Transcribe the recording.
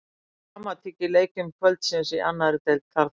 Það var dramatík í leikjum kvöldsins í annarri deild karla.